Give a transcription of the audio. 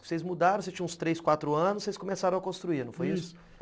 Vocês mudaram, vocês tinham uns três, quatro anos, vocês começaram a construir, não foi isso? isso.